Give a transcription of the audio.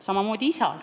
Samamoodi on isaga.